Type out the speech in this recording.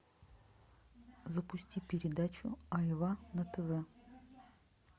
запусти передачу айва на тв